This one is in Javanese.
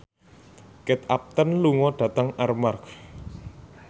Kate Upton lunga dhateng Armargh